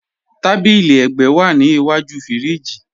Tàbílí ègbẹ́ wa ní ìwájú fíríjì.